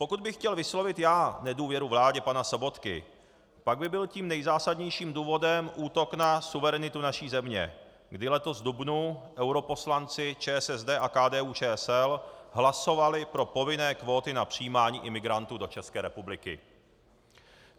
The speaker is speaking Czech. Pokud bych chtěl vyslovit já nedůvěru vládě pana Sobotky, pak by byl tím nejzásadnějším důvodem útok na suverenitu naší země, kdy letos v dubnu europoslanci ČSSD a KDU-ČSL hlasovali pro povinné kvóty na přijímání imigrantů do České republiky.